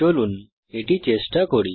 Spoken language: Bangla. চলুন এটি চেষ্টা করি